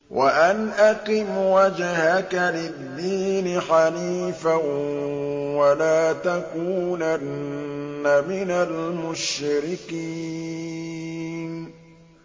وَأَنْ أَقِمْ وَجْهَكَ لِلدِّينِ حَنِيفًا وَلَا تَكُونَنَّ مِنَ الْمُشْرِكِينَ